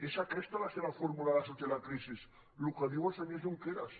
és aquesta la seva fórmula per sortir de la crisi el que diu el senyor junqueras